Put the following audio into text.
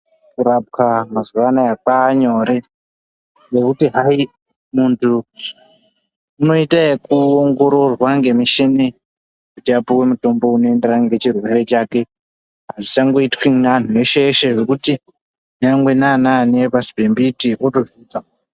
Kurapwa mazuva anaya kwaanyore nekuti hayi muntu unoite ekuongororwa ngemuchini kuti apuwe mutombo unoenderana ngechirwere chake. Hazvichangoitwi neanhu eshe-eshe zvekuti nyangwe naanani epashi pemiti ...